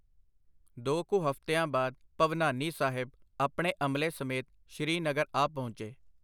ਦੋ ਕੁ ਹਫਤਿਆਂ ਬਾਅਦ ਭਵਨਾਨੀ ਸਾਹਿਬ ਆਪਣੇ ਅਮਲੇ ਸਮੇਤ ਸ਼੍ਰੀ ਨਗਰ ਆ ਪਹੁੰਚੇ.